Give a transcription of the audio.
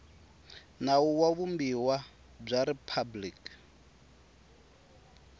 nawu wa vumbiwa bya riphabliki